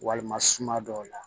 Walima suma dɔw la